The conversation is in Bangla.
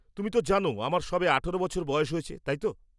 তুমি তো জানো আমার সবে ১৮ বছর বয়স হয়েছে, তাই তো?